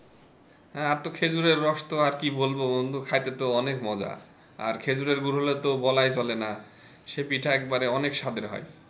হ্যাঁ আর তো খেজুরের রস তো আরো কি বলবো বন্ধু খাইতে তো অনেক মজা আর খেজুরের গুড় হলে তো বলাই চলে না সে পিঠা একবার অনেক সাধের হয়।